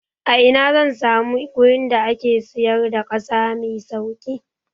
A ina zan samu gurin da ake siyar da ƙasa mai sauƙi?